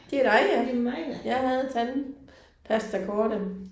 Det er dig ja. Jeg havde tandpastakortet